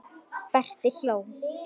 Berti hló.